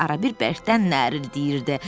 Arabir bərkdən nərildiyirdi.